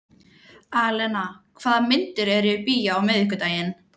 Alena, hvaða myndir eru í bíó á miðvikudaginn?